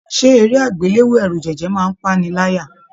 Ṣe eré agbelewo ẹrujẹjẹ máa n pa'ni láyà?